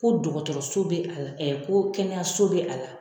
Ko dɔgɔtɔrɔso bɛ a la ko kɛnɛyaso bɛ a la